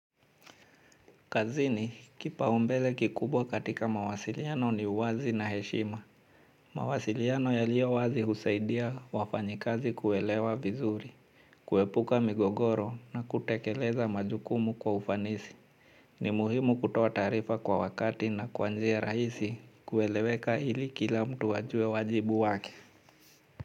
Kazini kipaumbele kikubwa katika mawasiliano ni wazi na heshima. Mawasiliano yaliyo wazi husaidia wafanyikazi kuelewa vizuri, kuepuka migogoro na kutekeleza majukumu kwa ufanisi. Ni muhimu kutoa taarifa kwa wakati na kwa njia rahisi kueleweka ili kila mtu ajue wajibu wake.